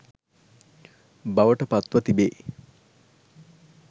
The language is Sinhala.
බවට පත්ව තිබේ.